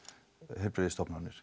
heilbrigðisstofnanir